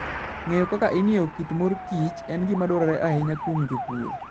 Ng'eyo kaka ing'iewo kit mor kich en gima dwarore ahinya kuom jopurgo.